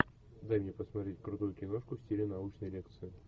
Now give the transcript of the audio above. дай мне посмотреть крутую киношку в стиле научной лекции